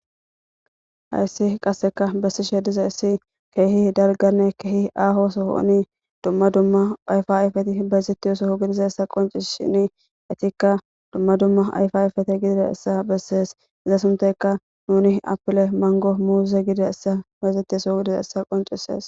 hayssi qasseka bessi she diza issi keehi dalganne keehi aaho sohouni dumma dumma ayfa ayfeti bayzettiyosoho gidiza essa qonci shini etikka dumma dumma ayfa ayfete gidida essa bessees iza sunteka nuni apile mango muuze gide essa bayzettisoo gidiza essa qoncisees